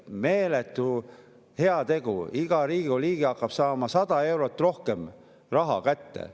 Meeletu heategu, iga Riigikogu liige hakkab saama 100 eurot rohkem raha kätte.